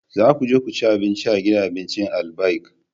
Za ku je cin abinci a gidan abincin Albaik!